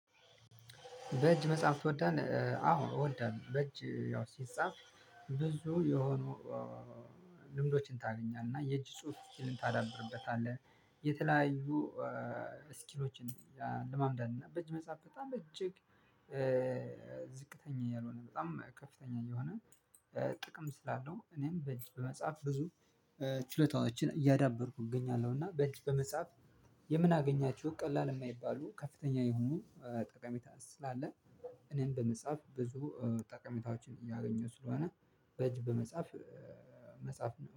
በእጅ መጻፍ ትወዳለህ? አዎ እወዳለሁ በእጅ ያው ሲጻፍ ብዙ የሆኑ ልምዶችን ታገኛለህ እና የእጅ ጽሁፍ ስኪልን ታዳብርበታለህ። የተለያዩ ስኪሎችን ያለማምዳል። እና በእጅ መጻፍ በጣም በእጅግ ዝቅተኛ እያልሆነ በጣም ከፍተኛ የሆነ ጥቅም ስላለው እኔም በእጅ በመጻፍ ብዙ ችሎታዎችን እያዳበርኩ እገኛለሁ። እና በእጅ በመጻፍ የምናገኛቸው ቀላል እማይባሉ ከፍተኛ የሆኑ ጠቀሜታ ስላለ እኔም በመጻፍ ብዙ ጠቀሜታዎችን እያገኘሁ ስለሆነ በጅ በመጻፍ መጻፍ ነው